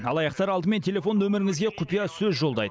алаяқтар алдымен телефон нөміріңізге құпиясөз жолдайды